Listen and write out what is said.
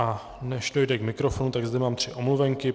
A než dojde k mikrofonu, tak zde mám tři omluvenky.